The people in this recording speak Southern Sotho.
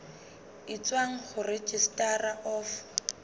e tswang ho registrar of